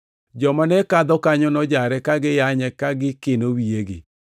Joma ne kadho kanyo nojare ka giyanye ka gikino wiyegi,